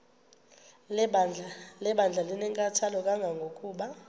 lebandla linenkathalo kangangokuba